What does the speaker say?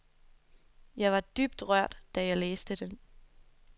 Jeg var dybt rørt, da jeg læste den.